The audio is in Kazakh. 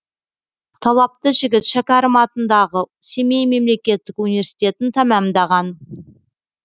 талапты жігіт шәкәрім атындағы семей мемлекеттік университетін тәмамдаған